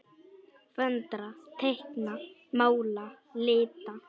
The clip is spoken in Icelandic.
Föndra- teikna- mála- lita